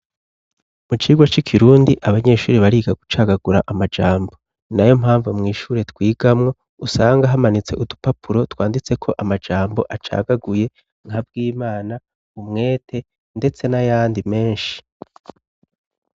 Mu cirwe c'i kirundi abanyeshuri bariga gucagagura amajambo na yo mpamvu mw'ishure twigamwo usanga hamanitse udupapuro twanditse ko amajambo acagaguye nka bw' imana umwete, ndetse n'ayandi menshi.